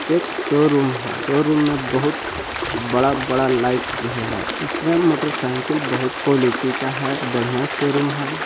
एक शोरूम है शोरूम में बहुत बड़ा - बड़ा लाइट हैं इसमें मोटर - सायकल बहुत क्वालिटी का है बड़िया शोरूम है।